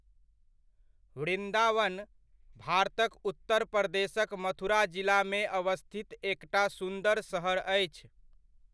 वृन्दावन, भारतक उत्तर प्रदेशक मथुरा जिलामे अवस्थित एकटा सुन्दर सहर अछि।